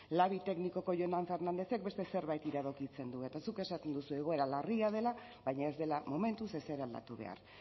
labi teknikoko jonan fernandezek beste zerbait iradokitzen du eta zuk esaten duzu egoera larria dela baina ez dela momentuz ezer aldatu behar